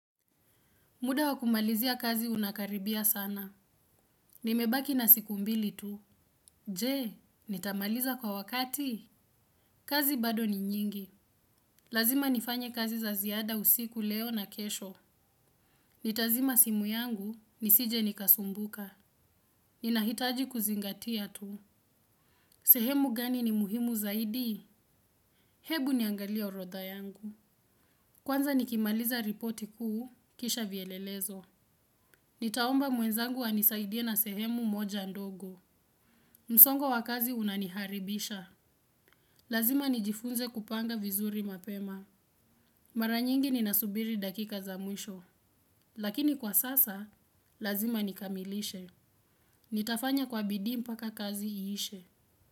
Muda wa kumalizia kazi unakaribia sana. Nimebaki na siku mbili tu. Je, nitamaliza kwa wakati? Kazi bado ni nyingi. Lazima nifanye kazi za ziada usiku leo na kesho. Nitazima simu yangu, nisije nikasumbuka. Ninahitaji kuzingatia tu. Sehemu gani ni muhimu zaidi? Hebu niangalie urodha yangu. Kwanza nikimaliza ripoti huu, kisha vyelelezo. Nitaomba mwenzangu anisaidia na sehemu moja ndogo. Msongo wa kazi unaniharibisha. Lazima nijifunze kupanga vizuri mapema. Mara nyingi ninasubiri dakika za mwisho. Lakini kwa sasa, lazima nikamilishe. Nitafanya kwa bidii mpaka kazi iishe.